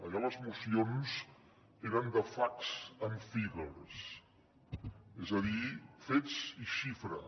allà les mocions eren de facts and figures és a dir fets i xifres